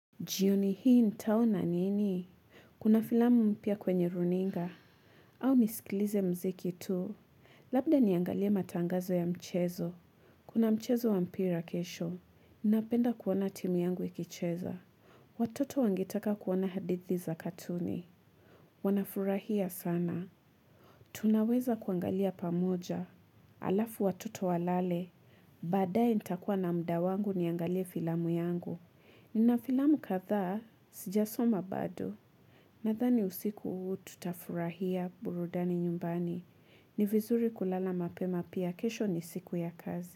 Jioni hii nitao na nini? Kuna filamu mpia kwenye runinga. Au nisikilize mziki tu. Labda niangalia matangazo ya mchezo. Kuna mchezo wa mpira kesho. Ninapenda kuona timu yangu ikicheza. Watoto wangitaka kuwana hadithi za katuni. Wanafurahia sana. Tunaweza kuangalia pamoja. Alafu watoto walale. Baadae nitakuwa na mda wangu niangalia filamu yangu. Ni na filamu katha, sijasoma bado, na thani usiku hu tutafurahia burudani nyumbani. Ni vizuri kulala mapema pia kesho ni siku ya kazi.